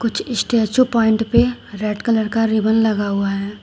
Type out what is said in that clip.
कुछ statue point पे red colour का रिबन लगा हुआ है।